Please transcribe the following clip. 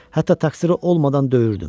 Hətta təqsiri olmadan döyürdüm.